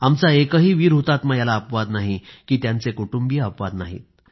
आमचा एकही वीर हुतात्मा याला अपवाद नाही की त्यांचे कुटुंबीय अपवाद नाही